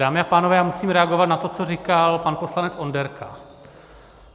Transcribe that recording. Dámy a pánové, já musím reagovat na to, co říkal pan poslanec Onderka.